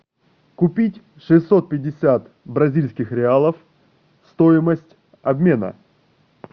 купить шестьсот пятьдесят бразильских реалов стоимость обмена